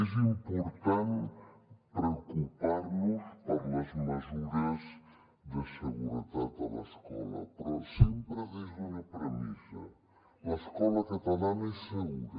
és important preocupar nos per les mesures de seguretat de l’escola però sempre des d’una premissa l’escola catalana és segura